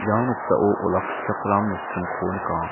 ia noksao olakkichakram nokdringko nika.